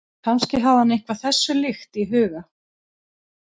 Kannski hafði hann eitthvað þessu líkt í huga.